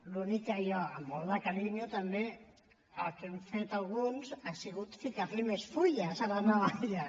l’únic que jo amb molt de carinyo també el que hem fet alguns ha sigut ficar li més fulles a la navalla